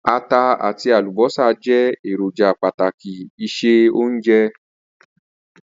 Ata àtí àlùbọ́sà je èròjà pàtàkì ìse-ounje